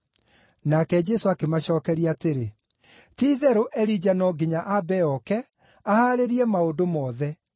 Nake Jesũ akĩmacookeria atĩrĩ, “Ti-itherũ, Elija no nginya aambe ooke, ahaarĩrie maũndũ mothe.